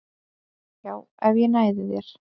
Já, ef ég næði þér